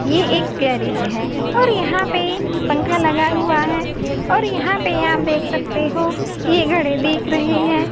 ये एक गैरेज है और यहां पे पंखा लगा हुआ है यहां पे आप देख सकते हैं एक घड़ी दिख रही हैं।